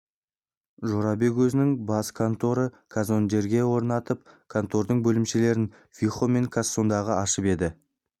жорабек өзінің бас конторын казондеге орнатып контордың бөлімшелерін вихо мен кассангодан ашып еді